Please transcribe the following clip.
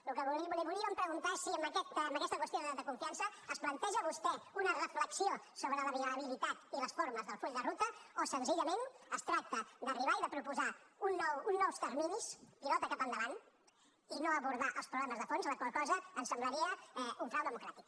el que li volíem preguntar és si amb aquesta qüestió de confiança es planteja vostè una reflexió sobre la viabilitat i les formes del full de ruta o senzillament es tracta d’arribar i de proposar uns nous terminis pilota cap endavant i no abordar els problemes de fons la qual cosa ens semblaria un frau democràtic